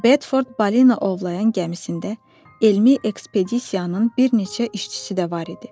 Bedford balina ovlayan gəmisində elmi ekspedisiyanın bir neçə işçisi də var idi.